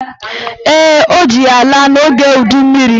Ee, ọ ji ya laa n'oge udummiri